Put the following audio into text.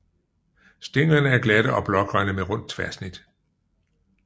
Stænglerne er glatte og blågrønne med rundt tværsnit